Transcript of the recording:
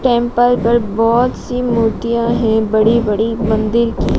Temple पर बहुत सी मूर्तियां हैं बड़ी बड़ी मंदिर की।